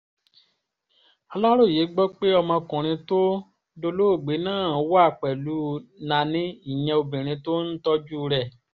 aláròye gbọ́ pé ọmọkùnrin tó dolóògbé náà wà pẹ̀lú nani ìyẹn obìnrin tó ń tọ́jú rẹ̀